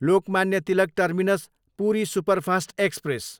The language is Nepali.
Lokmanya Tilak terminus, Puri superfast express